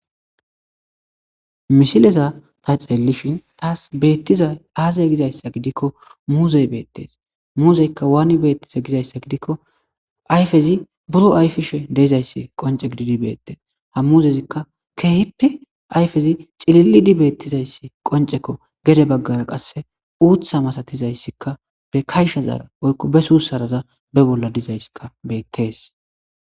mishileza ta xeelishin taas beettiza aazay gizayssa gidikko muuzey beettees muuzeykka waani beettiza gizayssa gidikko ayfezi buro ayfishe deezayssi qonce gididi beettes ha muzezikka keehippe ayfezi cilili di beettizayssi qoncekko gere baggara qasse uutha masatizayssikka be kayshazaara oykko be suussaraza be bolla dizayska bettees